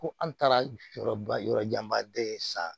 Ko an taara yɔrɔba yɔrɔ janba de san